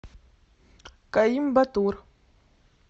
коимбатур